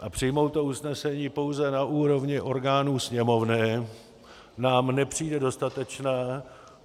A přijmout to usnesení pouze na úrovni orgánů Sněmovny nám nepřijde dostatečné.